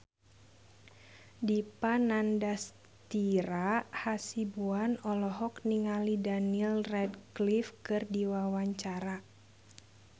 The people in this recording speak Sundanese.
Dipa Nandastyra Hasibuan olohok ningali Daniel Radcliffe keur diwawancara